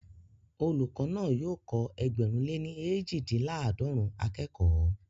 Olùkọ́ náà yóò kọ́ ẹgbẹ̀rún lè ní eejidinlaadọrun akẹ́kọ̀ọ́